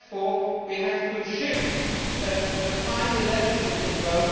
Therefore we have to shift the final legislative vote